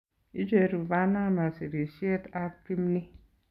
Icheruu Panama sirisyeet ab kimni